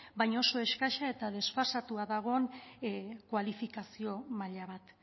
baina oso eskasa eta desfasatua dagoen kualifikazio maila bat